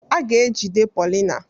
A ga-ejide Paulina.